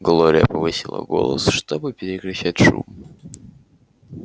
глория повысила голос чтобы перекричать шум